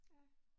Ja